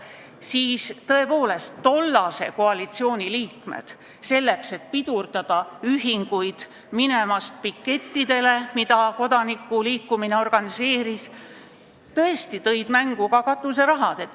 Ja siis tollase koalitsiooni liikmed, selleks et pidurdada ühingute minekut pikettidele, mida kodanikuliikumine organiseeris, tõid ka mängu katuserahad.